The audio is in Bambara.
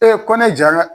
ko ne jara